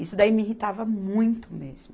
Isso daí me irritava muito mesmo.